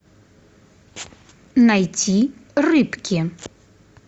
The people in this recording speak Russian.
найти рыбки